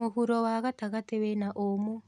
Mũhuro wa gatagatĩ wĩna ũmũ.